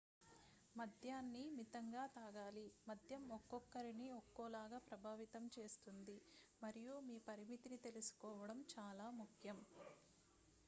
మద్యాన్ని మితంగా తాగాలి మద్యం ఒక్కొక్కరిని ఒక్కోలాగా ప్రభావితం చేస్తుంది మరియు మీ పరిమితిని తెలుసుకోవడం చాలా ముఖ్యం